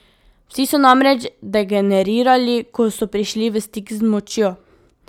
Vsi so namreč degenerirali, ko so prišli v stik z močjo.